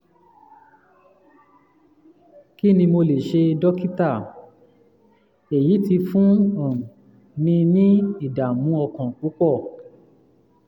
kí ni mo lè ṣe dókítà? èyí ti fún mi um ní ìdààmú ọkàn púpọ̀